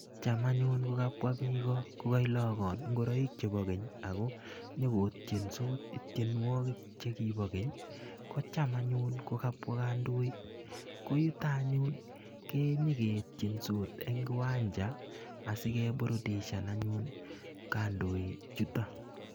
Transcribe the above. Cham anyun kokabwa biik ko kokailogon ingoroik chebo keny ago nyokotiensot tienwogik che kibo keny kocham anyun kokabwa kandoik, ko yuto anyun kenyeketiensot eng kiwanja asikeburudishan anyun kandoik chuto.